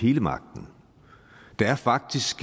hele magten der er faktisk